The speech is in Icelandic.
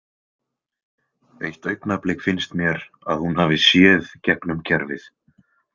Eitt augnablik finnst mér að hún hafi séð gegnum gervið.